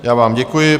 Já vám děkuji.